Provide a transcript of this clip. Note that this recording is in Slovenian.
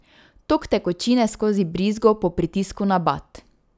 Tok tekočine skozi brizgo po pritisku na bat.